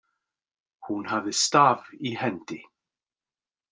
Hún hafði staf í hendi.